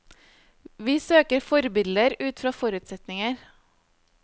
Vi søker forbilder ut fra forutsetninger.